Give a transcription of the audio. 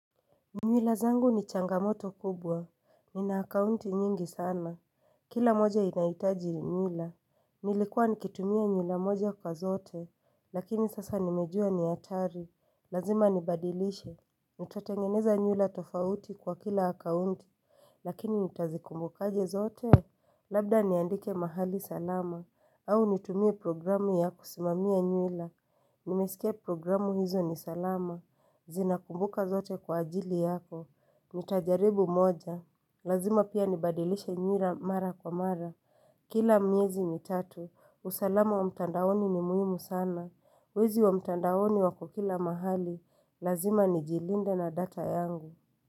Nywila zangu ni changamoto kubwa, nina akaunti nyingi sana Kila moja inahitaji nywila Nilikuwa nikitumia nywila moja kwa zote, lakini sasa nimejua ni hatari Lazima nibadilishe, nitatengeneza nywila tofauti kwa kila akaunti Lakini nitazikumbukaje zote Labda niandike mahali salama, au nitumie programu ya kusimamia nywila Nimesikia programu hizo ni salama Zinakumbuka zote kwa ajili yako nitajaribu moja Lazima pia nibadilishe nywila mara kwa mara Kila miezi mitatu usalama wa mtandaoni ni muhimu sana Wezi wa mtandaoni wako kila mahali Lazima nijilinde na data yangu.